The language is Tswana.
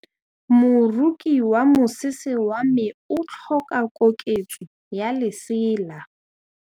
Moroki wa mosese wa me o tlhoka koketsô ya lesela.